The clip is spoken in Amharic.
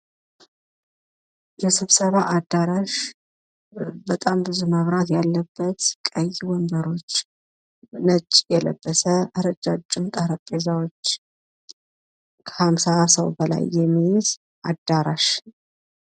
የስብሰባ አዳራሽ በጣም ብዙ መብራት ያለበት ቀይ ወንበሮች ነጭ የለበሰ ረጃጅም ጠረጴዛዎች ከአምሳ ሰው በላይ የሚይዝ አዳራሽ።